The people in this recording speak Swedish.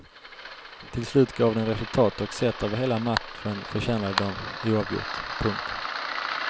Till slut gav den resultat och sett över hela matchen förtjänade de oavgjort. punkt